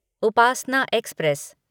Upasana express